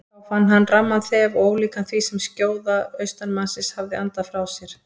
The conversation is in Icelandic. Þá fann hann ramman þef og ólíkan því sem skjóða austanmannsins hafði andað frá sér.